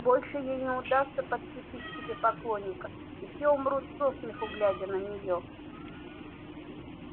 больше ей не удастся подцепить себе поклонника и все умрут со смеху глядя на неё